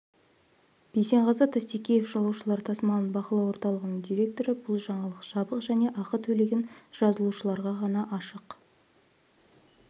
бейсенғазы тастекеев жолаушылар тасымалын бақылау орталығының директоры бұл жаңалық жабық және ақы төлеген жазылушыларға ғана ашық